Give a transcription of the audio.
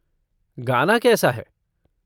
गाना कैसा है?